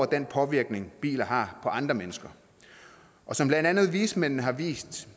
den påvirkning biler har på andre mennesker og som blandt andet vismændene har vist